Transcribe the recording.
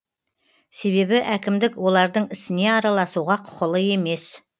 себебі әкімдік олардың ісіне араласуға құқылы емес